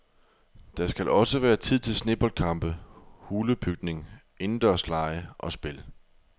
Der skal også være tid til sneboldkampe, hulebygning, indendørslege og spil.